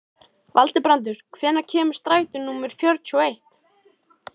Valbrandur, hvenær kemur strætó númer fjörutíu og eitt?